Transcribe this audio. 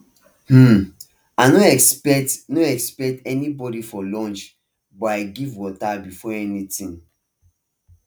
um i no expect no expect anybody for lunch but i give water before anything